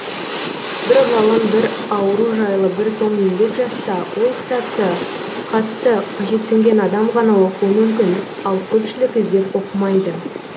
бір ғалым бір ауру жайлы бір том еңбек жазса ол кітапті қатты қажетсінген адам ғана оқуы мүмкін ал көпшілік іздеп оқымайды